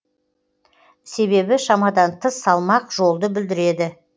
себебі шамадан тыс салмақ жолды бүлдіреді